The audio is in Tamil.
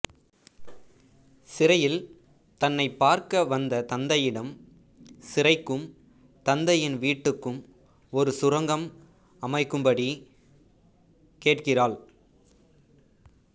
சிறையில் தன்னைப் பார்க்க வந்த தந்தையிடம் சிறைக்கும் தந்தையின் வீட்டுக்கும் ஒரு சுரங்கம் அமைக்கும் படி கேட்கிறாள்